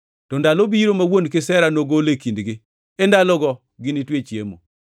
To ndalo biro ma wuon kisera nogol e kindgi, e ndalogo ginitwe chiemo.”